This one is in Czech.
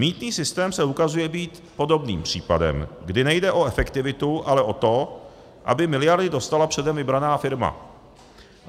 Mýtný systém se ukazuje být podobným případem, kdy nejde o efektivitu, ale o to, aby miliardy dostala předem vybraná firma.